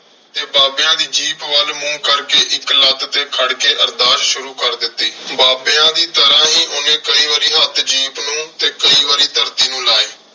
ਤੇ ਬਾਬਿਆਂ ਦੀ ਜੀਪ ਵੱਲ ਮੂੰਹ ਕਰਕੇ ਇੱਕ ਲੱਤ ਤੇ ਖੜ ਕੇ ਅਰਦਾਸ ਸ਼ੁਰੂ ਕਰ ਦਿੱਤੀ। ਬਾਬਿਆਂ ਦੀ ਤਰ੍ਹਾਂ ਹੀ ਉਹਨੇ ਕਈ ਵਾਰੀ ਹੱਥ ਜੀਪ ਨੂੰ ਤੇ ਕਈ ਵਾਰੀ ਧਰਤੀ ਨੂੰ ਲਾਏ।